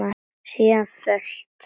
Síðan fölt.